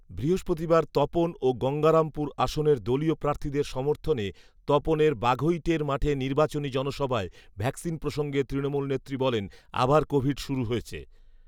বৃহস্পতিবার তপন ও গঙ্গারামপুর আসনের দলীয় প্রার্থীদের সমর্থনে তপনের বাঘৈটের মাঠে নির্বাচনি জনসভায় ভ্যাকসিন প্রসঙ্গে তৃণমূল নেত্রী বলেন, ‘আবার কোভিড শুরু হয়েছে